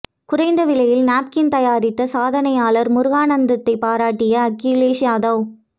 குறைந்த விலையில் நாப்கின் தயாரித்த சாதனையாளர் முருகானந்தத்தை பாராட்டிய அகிலேஷ் யாதவ்